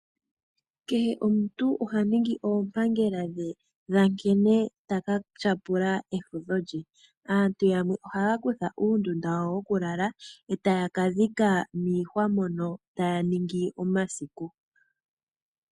Kehe omuntu oha ningi oompangela dhe dha nkene ta ka tyapula efudho lye. Aantu yamwe ohaya kutha uunima wawo wokulala etaya kadhika miihwa mono taya ningi omasiku